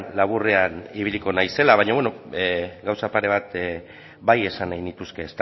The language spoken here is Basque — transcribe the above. laburrean ibiliko naizela baina beno gauza pare bat bai esan nahi nituzke